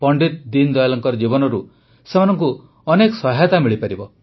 ପଣ୍ଡିତ ଦୀନଦୟାଲଙ୍କ ଜୀବନରୁ ସେମାନଙ୍କୁ ବହୁତ ସହାୟତା ମିଳିପାରିବ